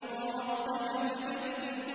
وَرَبَّكَ فَكَبِّرْ